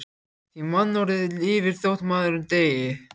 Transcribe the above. Því mannorðið lifir þótt maðurinn deyi.